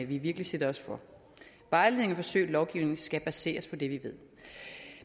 vi virkelig sætter os for vejledning forsøg og lovgivning skal baseres på det vi ved